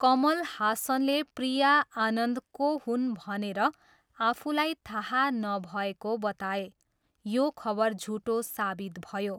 कमल हासनले प्रिया आनन्द को हुन् भनेर आफूलाई थाहा नभएको बताए, यो खबर झुटो साबित भयो।